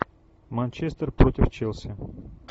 манчестер против челси